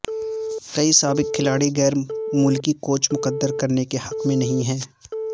کئی سابق کھلاڑی غیر ملکی کوچ مقرر کرنے کے حق میں نہیں ہیں